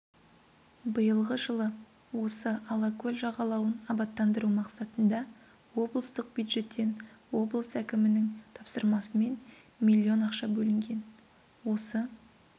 биылғы жылы осы алакөл жағалауын абаттандыру мақсатында облыстық бюджеттен облыс әкімінің тапсырмасымен миллион ақша бөлінген осы